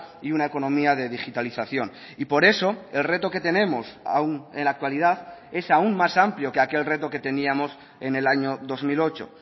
y una economía de digitalización y por eso el reto que tenemos aún en la actualidad es aún más amplio que aquel reto que teníamos en el año dos mil ocho